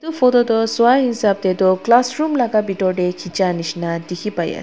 photo tu swa hisap tae tu classroom laka bitor tae khicha nishina dikhipaiase--